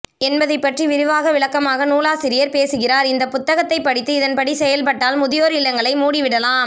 என்பதைப்பற்றி விரிவாக விளக்கமாக நூலாசியர் பேசுகிறார் இந்த புத்தகத்தை படித்து இதன்படி செயல் பட்டால் முதியோர் இல்லங்களை மூடிவிடலாம்